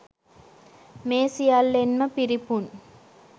මේ සියල්ලෙන්ම පිරිපුන්